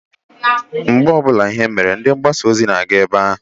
Mgbe ọbụla ihe mere, ndị mgbasa ozi na-aga ebe ahụ.